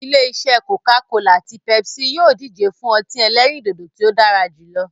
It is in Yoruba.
Ilé-isẹ́ "Coca-cola" àti "Pepsi" yìí ó díje fún ọtí ẹlẹ́rìndòdò tí ó dára jù lọ.